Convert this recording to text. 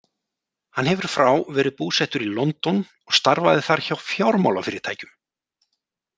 Hann hefur frá verið búsettur í London og starfaði þar hjá fjármálafyrirtækjum.